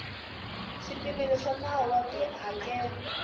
swipimelo swa nawu wa tihakelo